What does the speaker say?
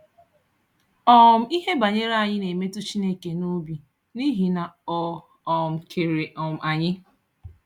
um Íhè banyere anyị na-emetụ Chineke n’òbí n’íhì na Ọ um kere um anyị.